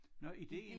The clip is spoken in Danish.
Nå idéen